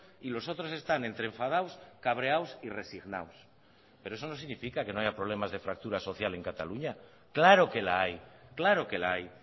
y los otros están entre enfadados cabreados y resignados pero eso no significa que no haya problemas de fractura social en cataluña claro que la hay claro que la hay